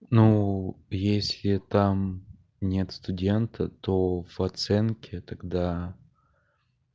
ну если там нет студента то в оценке тогда